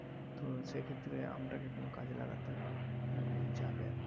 তো সেক্ষেত্রে আমটাকে কোন কাজে লাগাতে যাবে আরকি।